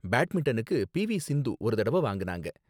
பேட்மின்டனுக்கு P V Sindhu ஒரு தடவ வாங்குனாங்க